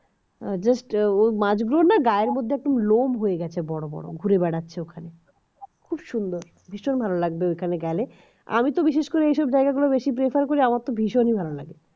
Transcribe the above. যে ওই মাছগুলো না গায়ের মধ্যে লোম হয়ে গেছে বড় বড় ঘুরে বেড়াচ্ছে ওখানে খুব সুন্দর ভীষণ ভালো লাগলো ওখানে গেলে আমিতো বিশেষ করে এই সব জায়গা গুলো বেশি prefer করি আমার তো ভীষণই ভালো লাগে